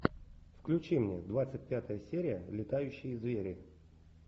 включи мне двадцать пятая серия летающие звери